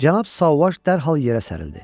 Cənab Sauvaj dərhal yerə sərildi.